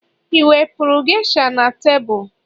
i wepụrụ geisha na tebụl